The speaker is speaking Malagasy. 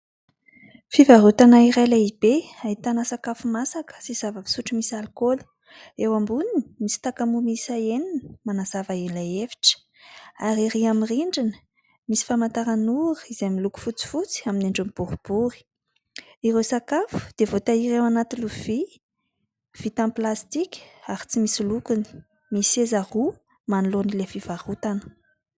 Fivarotana iray lehibe ahitana sakafo masaka sy zava-pisotro misy alikaoly. Eo amboniny misy takamo miisa enina manazava ilay efitra. Ery amin' ny rindrina misy famantaran' ora izay miloko fotsifotsy amin' ny endriny boribory. Ireo sakafo dia voatahiry eo anaty lovia vita amin' ny plastika ary tsy misy lokony. Misy seza roa manoloan' ilay fivarotana.